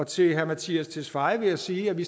til herre mattias tesfaye vil jeg sige at vi